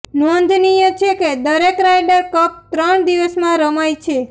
નોંધનીય છે કે દરેક રાયડર કપ ત્રણ દિવસમાં રમાય છે